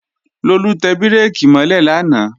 Lolú tẹ bírèkì mọ́ lẹ̀ lánàá